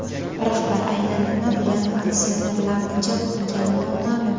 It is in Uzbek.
Rahbar aynan nima bilan aksionerlarni jalb qilgani noma’lum.